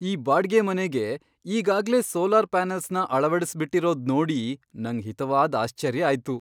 ಈ ಬಾಡ್ಗೆ ಮನೆಗೆ ಈಗಾಗ್ಲೇ ಸೋಲಾರ್ ಪ್ಯಾನಲ್ಸ್ನ ಅಳವಡ್ಸ್ಬಿಟಿರೋದ್ ನೋಡಿ ನಂಗ್ ಹಿತವಾದ್ ಆಶ್ಚರ್ಯ ಆಯ್ತು!